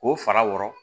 K'o fara wɔrɔ